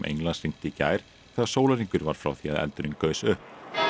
Englands hringt í gær þegar sólarhringur var frá því að eldurinn gaus upp